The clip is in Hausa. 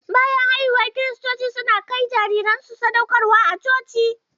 Bayan haihuwa kiristoci su na kai jariran su sadauƙarwa a coci.